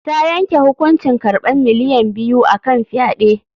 Ta yanke hukuncin karɓan miliyan biyu a kan fyaɗe.